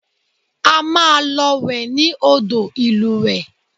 A máa lọ wẹ̀ ní odò ìlúwẹ̀ẹ́